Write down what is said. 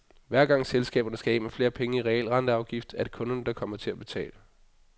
Hver gang selskaberne skal af med flere penge i realrenteafgift, er det kunderne, der kommer til at betale.